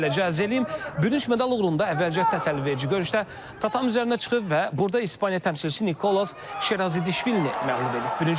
Beləcə əlim bürünc medal uğrunda əvvəlcə təsəlliverici görüşdə tatami üzərinə çıxıb və burda İspaniya təmsilçisi Nikolas Şerazidişvilini məğlub edib.